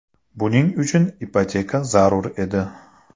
Buning uchun ipoteka zarur edi.